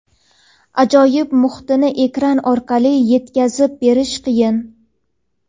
ajoyib muhitini ekran orqali yetkazib berish qiyin.